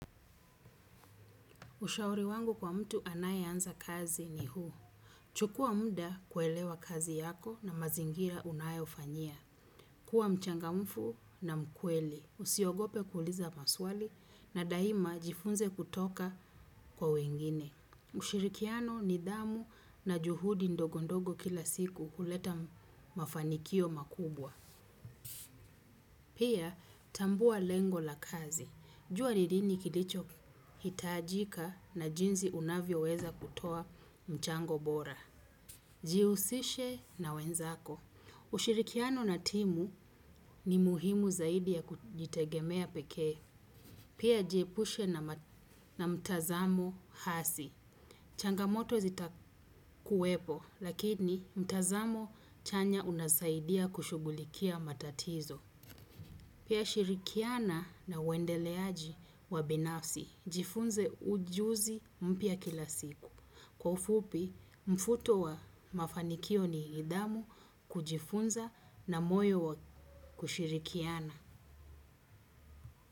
Ushauri wangu kwa mtu anayeanza kazi ni huu. Chukua mda kuelewa kazi yako na mazingira unayofanyia. Kuwa mchangamfu na mkweli. Usiogope kkuliza maswali na daima jifunze kutoka kwa wengine. Ushirikiano nidhamu na juhudi ndogo ndogo kila siku huleta mafanikio makubwa. Pia, tambua lengo la kazi. Jua ni lini kilichohitajika na jinsi unavyoweza kutoa mchango bora. Jihusishe na wenzako. Ushirikiano na timu ni muhimu zaidi ya kujitegemea pekee. Pia jiepushe na mtazamo hasi. Changamoto zitakuwepo, lakini mtazamo chanya unasaidia kushughulikia matatizo. Pia shirikiana na uendeleaji wa binafsi. Jifunze ujuzi mpya kila siku. Kwa ufupi, mfuto wa mafanikio ni nidhamu kujifunza na moyo wa kushirikiana.